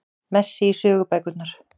Messi í sögubækurnar